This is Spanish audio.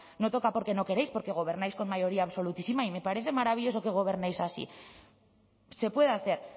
no toca porque no queréis porque gobernáis con mayoría absolutísima y me parece maravilloso que gobernéis así se puede hacer